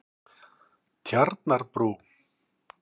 Tjarnarbrú